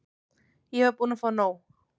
Ég var búin að fá nóg.